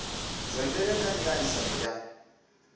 zwa ndeme kha miaisano ya